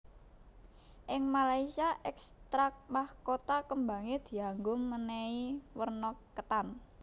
Ing Malaysia ekstrak mahkota kembangé dianggo mènèhi werna ketan